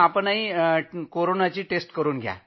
आपणही चाचणी करून घ्या